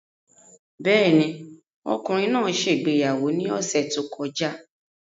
Bẹ́ẹ̀ ni, ọkùnrin náà ṣe ìgbéyàwó ní ọ̀sẹ̀ tó kọjá.